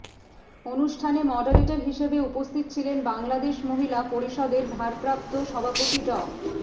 অনুষ্ঠানে মডারেটর হিসেবে উপস্থিত ছিলেন বাংলাদেশ মহিলা পরিষদের ভারপ্রাপ্ত সভাপতি ডা